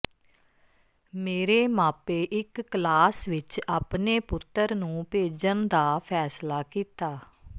ਮੇਰੇ ਮਾਪੇ ਇੱਕ ਕਲਾਸ ਵਿੱਚ ਆਪਣੇ ਪੁੱਤਰ ਨੂੰ ਭੇਜਣ ਦਾ ਫੈਸਲਾ ਕੀਤਾ